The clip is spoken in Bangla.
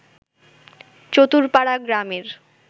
চতুরপাড়া গ্রামের